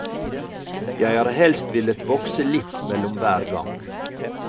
Jeg har helst villet vokse litt mellom hver gang.